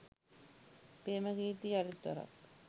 ප්‍රේමකීර්ති යළිත් වරක්